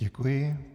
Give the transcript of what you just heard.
Děkuji.